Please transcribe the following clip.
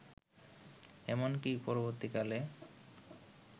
এমনকি পরবর্তীকালে